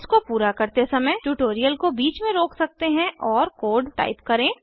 इसको पूरा करते समय ट्यूटोरियल को बीच में रोक सकते हैं और कोड टाइप करें